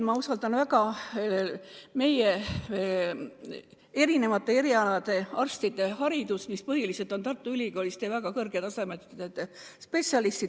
Ma usaldan väga meie erinevate erialade arstide haridust, mis põhiliselt on saadud Tartu Ülikoolis ja väga kõrge tasemega spetsialistidelt.